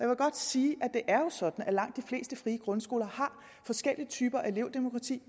vil godt sige at det jo er sådan at langt de fleste frie grundskoler har forskellige typer af elevdemokrati